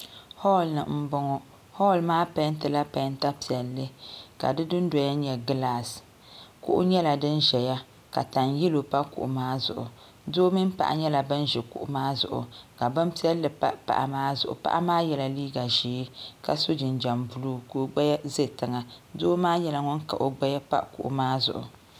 hɔɔlini m-bɔŋɔ hɔɔli maa pɛɛntila pɛɛnta piɛlli ka di dundoya nyɛ glaasi kuɣu nyɛla din ʒeya ka tan'yɛlo pa kuɣu maa zuɣu doo mini paɣa nyɛla ban ʒi kuɣu maa zuɣu ka bin'piɛlli pa paɣa maa zuɣu paɣa maa yela liiga ʒee ka so jinjɛm buluu ka o gbaya ze tiŋa doo maa nyɛla ŋun kahi o naba pa kuɣu maa zuɣu